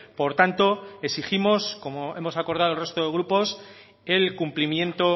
por tanto exigimos como hemos acordado el resto de grupos el cumplimiento